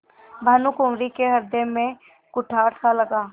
भानुकुँवरि के हृदय में कुठारसा लगा